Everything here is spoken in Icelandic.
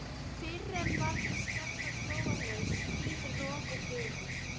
Fyrr en varði skall á glórulaus hríð, rok og bylur.